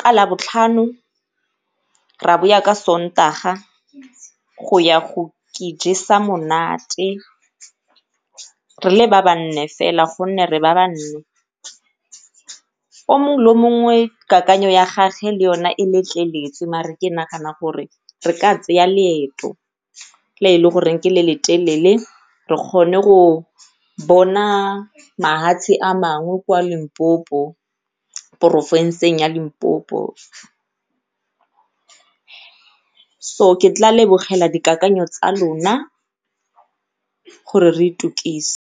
ka labotlhano ra ka sontaga go ya go jesa monate re le ba ba nne fela gonne re ba ba nne. O mongwe le o mongwe kakanyo ya gagwe e le yone letleletswe mare ke nagana gore re ka leeto le e le goreng ke le le telele re kgone go bona mahatshe a mangwe kwa Limpopo porofenseng ya Limpopo. So ke tla lebogela dikakanyo tsa lona gore re .